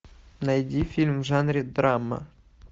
найди фильм в жанре драма